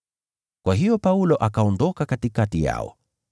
Kwa hiyo Paulo akaondoka katikati yao.